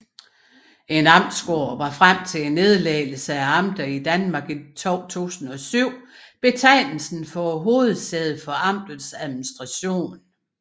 En amtsgård var frem til nedlæggelsen af amterne i Danmark i 2007 betegnelsen for hovedsædet for amtets administration